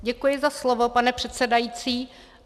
Děkuji za slovo, pane předsedající.